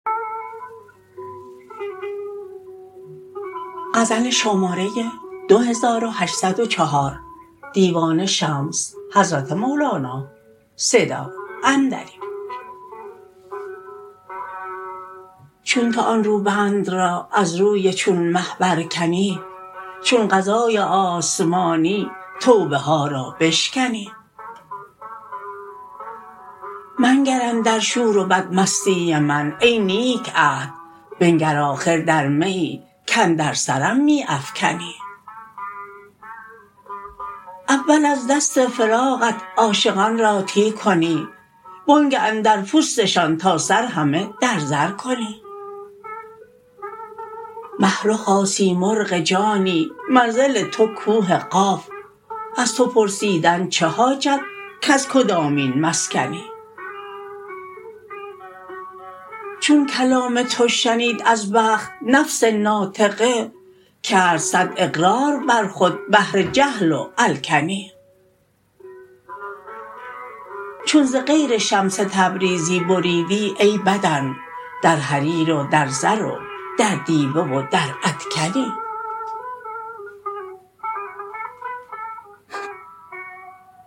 چون تو آن روبند را از روی چون مه برکنی چون قضای آسمانی توبه ها را بشکنی منگر اندر شور و بدمستی من ای نیک عهد بنگر آخر در میی کاندر سرم می افکنی اول از دست فراقت عاشقان را تی کنی وآنگه اندر پوستشان تا سر همه در زر کنی مه رخا سیمرغ جانی منزل تو کوه قاف از تو پرسیدن چه حاجت کز کدامین مسکنی چون کلام تو شنید از بخت نفس ناطقه کرد صد اقرار بر خود بهر جهل و الکنی چون ز غیر شمس تبریزی بریدی ای بدن در حریر و در زر و در دیبه و در ادکنی